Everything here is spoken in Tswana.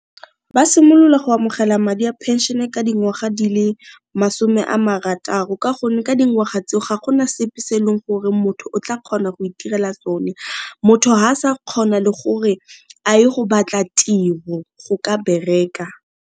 Ba simolola go amogela madi a pension ka dingwaga di le masome a marataro ka gonne ka dingwaga tseo ga gona sepe se eleng gore motho o tla kgona go itirela sone, motho ga sa kgona le gore a ye go batla tiro go ka bereka.